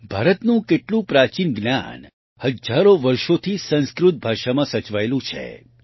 ભારતનું કેટલું પ્રાચીન જ્ઞાન હજારો વર્ષોથી સંસ્કૃત ભાષામાં સચવાયેલું છે